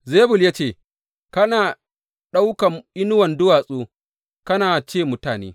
Zebul ya ce, Kana ɗaukan inuwan duwatsu kana ce mutane.